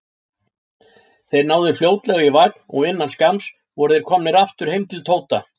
Þeir náðu fljótlega í vagn og innan skamms voru þeir komnir aftur heim til Tóta.